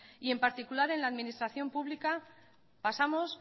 y en particular en la administración pública pasamos